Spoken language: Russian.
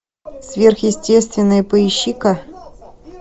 сверхъестественное поищи ка